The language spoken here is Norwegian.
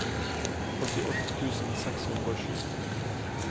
åttiåtte tusen seks hundre og sju